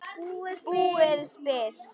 Búið spil.